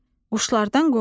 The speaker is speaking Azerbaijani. Uşlardan qoru.